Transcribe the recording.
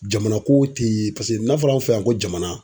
Jamana ko te paseke n'a fɔra anw fɛ yan ko jamana